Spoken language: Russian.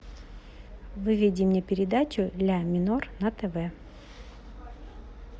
выведи мне передачу ля минор на тв